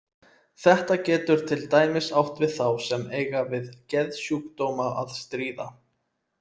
Þetta getur til dæmis átt við þá sem eiga við geðsjúkdóma að stríða.